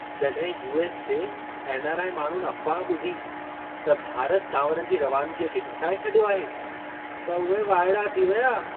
जॾहिं यू.एस. जे एन.आर.आई. माण्हुनि अफ़्वाह ॿुधी त भारत चांवरनि जी रवानिगीअ खे घटाए छॾियो आहे, त उहे वाइड़ा थी विया।